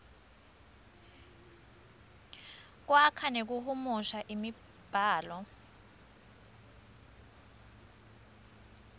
kwakha nekuhumusha imibhalo